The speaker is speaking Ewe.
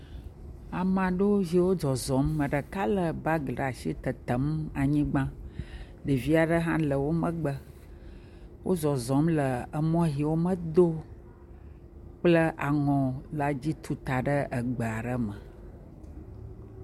Amaɖewo yiwo zɔzɔm, ame ɖeka lé bagi ɖe asi le tetem le anyigba, ɖevi aɖewo hã le wo megbe, wozɔzɔm le emɔ yiwo womedo kple aŋɔ la dzi tuta egbe aɖe me.